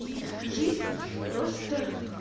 и жизнь просто